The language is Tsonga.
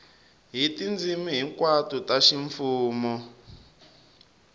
hi tindzimi hinkwato ta ximfumo